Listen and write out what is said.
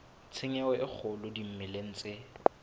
tshenyo e kgolo dimeleng tse